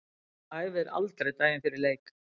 Æfir aldrei daginn fyrir leik.